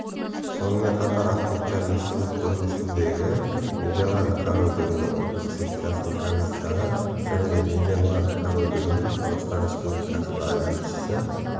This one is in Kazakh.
сонымен қатар ахметжан есімов көрмесіндегі нидерланд корольдігінің ұлттық секциясының комиссары және нидерланд корольдігінің қазақстан республикасындағы елшісі